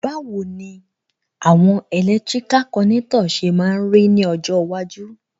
Bàwoni àwon electrical connector se ma ri ni ọjọ́ iwájú?